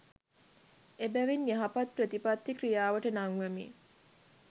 එබැවින් යහපත් ප්‍රතිපත්ති ක්‍රියාවට නංවමින්